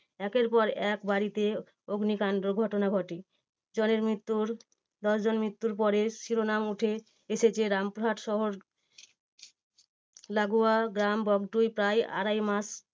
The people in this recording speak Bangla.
একের পর এক বাড়িতে অগ্নিকান্ডর ঘটনা ঘটে জনের মৃত্যুর দশজন মৃত্যুর পরে শিরোনাম ওঠে এসেছে রামপুরহাট শহর লাগোয়া গ্রাম বগটুই প্রায় আড়াই মাস